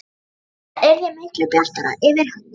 Það yrði miklu bjartara yfir henni.